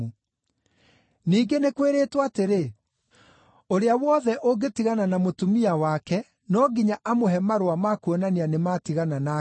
“Ningĩ nĩ kwĩrĩtwo atĩrĩ, ‘Ũrĩa wothe ũngĩtigana na mũtumia wake no nginya amũhe marũa ma kuonania nĩmatigana nake.’